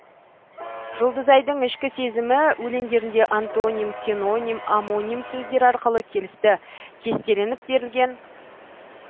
жұлдызайдың ішкі сезімі өлеңдерінде антоним синоним омоним сөздер арқылы келісті кестеленіп берілген